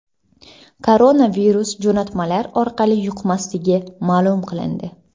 Koronavirus jo‘natmalar orqali yuqmasligi ma’lum qilindi.